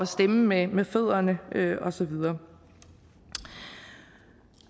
stemme med med fødderne og så videre